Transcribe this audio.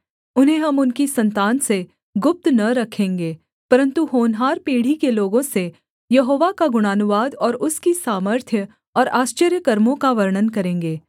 उन्हें हम उनकी सन्तान से गुप्त न रखेंगे परन्तु होनहार पीढ़ी के लोगों से यहोवा का गुणानुवाद और उसकी सामर्थ्य और आश्चर्यकर्मों का वर्णन करेंगे